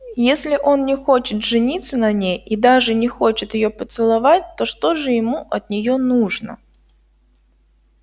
если он не хочет жениться на ней и даже не хочет её поцеловать то что же ему от нее нужно